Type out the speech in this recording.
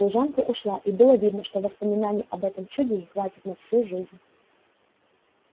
служанка ушла и было видно что воспоминаний об этом чуде ей хватит на всю жизнь